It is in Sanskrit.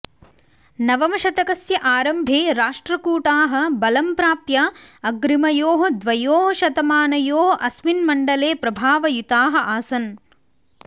नवमशतकस्य आरम्भे राष्ट्रकूटाः बलं प्राप्य अग्रिमयोः द्वयोः शतमानयोः अस्मिन् मण्डले प्रभावयुताः आसन्